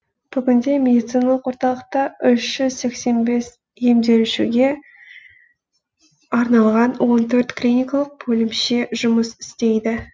бүгінде медициналық орталықта үш жүз сексен бес емделушіге арналған он төрт клиникалық бөлімше жұмыс істейді